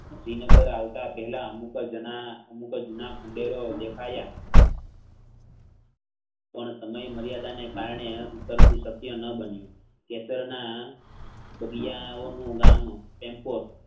શ્રીનગર આવતા પાહકલા અમુકજના~અમુકજના ખંડેરો દેખાય પણ સમય મર્યાદાને કારણે ઉતરતુંસ્કાય ન બન્યું જેસરના બગયાઓ નું વાનું ટેમ્પોટ